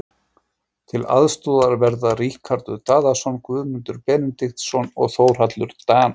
Til aðstoðar verða Ríkharður Daðason, Guðmundur Benediktsson og Þórhallur Dan.